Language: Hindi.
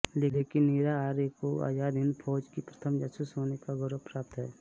लेकिन नीरा आर्य को आजाद हिंद फौज की प्रथम जासूस होने का गौरव प्राप्त है